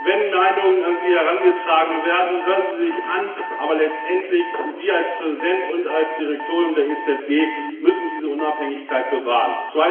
Wenn Meinungen an Sie herangetragen werden, hören Sie sie sich an, aber letztendlich gilt Sie als Präsident und als Direktorium der EZB müssen diese Unabhängigkeit bewahren.